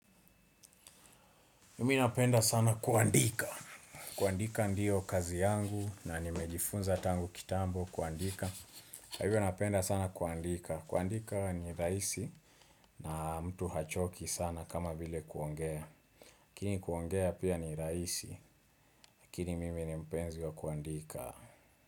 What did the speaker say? Mimi napenda sana kuandika. Kuandika ndio kazi yangu na nimejifunza tangu kitambo kuandika. Kwa hivyo napenda sana kuandika. Kuandika ni raisi na mtu hachoki sana kama vile kuongea. Kini kuongea pia ni raisi. Lakini mimi ni mpenzi wa kuandika.